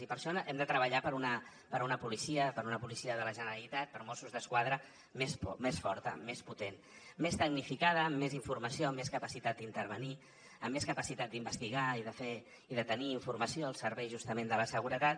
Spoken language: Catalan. i per això hem de treballar per una policia per una policia de la generalitat per mossos d’esquadra més forta més potent més tecnificada amb més informació amb més capacitat d’intervenir amb més capacitat d’investigar i de tenir informació al servei justament de la seguretat